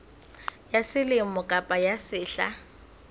ya selemo kapa ya sehla